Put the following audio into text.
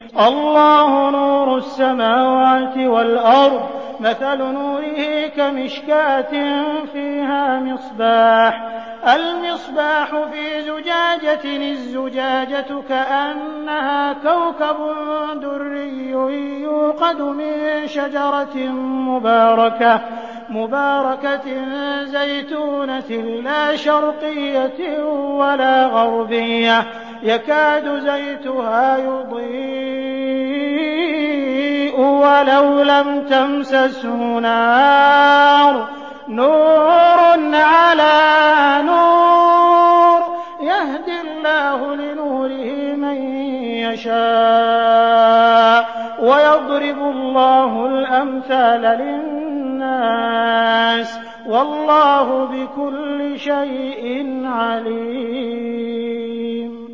۞ اللَّهُ نُورُ السَّمَاوَاتِ وَالْأَرْضِ ۚ مَثَلُ نُورِهِ كَمِشْكَاةٍ فِيهَا مِصْبَاحٌ ۖ الْمِصْبَاحُ فِي زُجَاجَةٍ ۖ الزُّجَاجَةُ كَأَنَّهَا كَوْكَبٌ دُرِّيٌّ يُوقَدُ مِن شَجَرَةٍ مُّبَارَكَةٍ زَيْتُونَةٍ لَّا شَرْقِيَّةٍ وَلَا غَرْبِيَّةٍ يَكَادُ زَيْتُهَا يُضِيءُ وَلَوْ لَمْ تَمْسَسْهُ نَارٌ ۚ نُّورٌ عَلَىٰ نُورٍ ۗ يَهْدِي اللَّهُ لِنُورِهِ مَن يَشَاءُ ۚ وَيَضْرِبُ اللَّهُ الْأَمْثَالَ لِلنَّاسِ ۗ وَاللَّهُ بِكُلِّ شَيْءٍ عَلِيمٌ